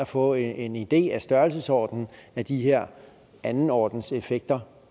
få en idé om størrelsesordenen af de her andenordenseffekter